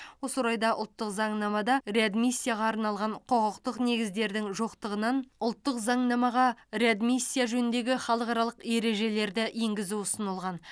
осы орайда ұлттық заңнамада реадмиссияға арналған құқықтық негіздердің жоқтығынан ұлттық заңнамаға реадмиссия жөніндегі халықаралық ережелерді енгізу ұсынылған